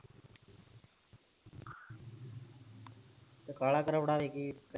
ਫਿਰ ਖਾ ਲਾ ਖਰੋੜਾ ਵਾਲੀ ਖੀਰ